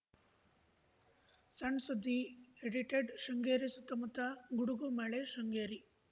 ಸಣ್‌ ಸುದ್ದಿ ಎಡಿಟೆಡ್‌ ಶೃಂಗೇರಿ ಸುತ್ತಮುತ್ತ ಗುಡುಗು ಮಳೆ ಶೃಂಗೇರಿ